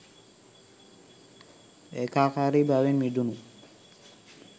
ඒකාකාරී බවෙන් මිදුණු